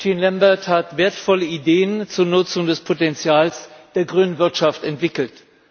Jean Lambert hat wertvolle Ideen zur Nutzung des Potenzials der grünen Wirtschaft entwickelt.